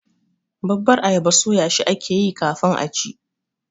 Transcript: babbar ayaba soyashi ake yi kafin a ci.